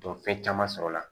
fɛn caman sɔrɔ la